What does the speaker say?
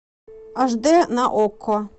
аш дэ на окко